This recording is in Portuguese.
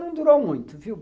Não durou muito, viu?